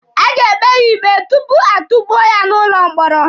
A ga-ekpe ya ikpe tupu atukpuo ya n'ụlọ mkpọrọ.